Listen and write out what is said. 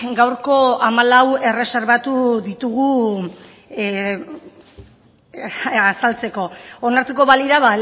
gaurko hamalau erreserbatu ditugu azaltzeko onartuko balira